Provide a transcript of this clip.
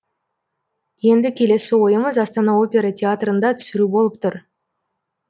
енді келесі ойымыз астана опера театрында түсіру болып тұр